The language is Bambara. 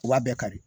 U b'a bɛɛ kari